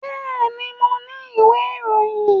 Bẹ́ẹ̀ni, mo ni ìwé ìròyìn